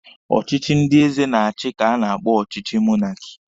Ọchịchị ndị eze na-achi ka a na-akpọ ọchịchị monaki.